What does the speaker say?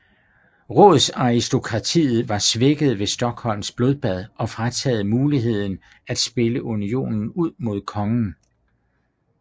Rådsaristokratiet var svækket ved Stockholms blodbad og frataget muligheden at spille unionen ud mod kongen